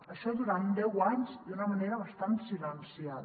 això durant deu anys d’una manera bastant silenciada